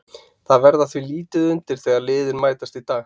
Það verður því lítið undir þegar liðin mætast í dag.